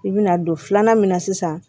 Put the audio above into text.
I bɛna don filanan min na sisan